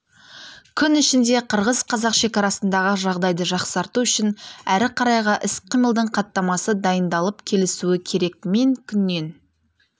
күн ішінде қырғыз-қазақ шекарасындағы жағдайды жақсарту үшін әрі қарайғы іс-қимылдың хаттамасы дайындалып келісілуі керек мен күннен